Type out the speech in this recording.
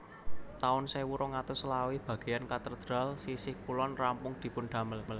taun sewu rong atus selawe bagéyan katedral sisih kulon rampung dipun damel